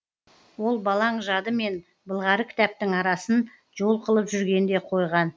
ол балаң жады мен былғары кітаптың арасын жол қылып жүрген де қойған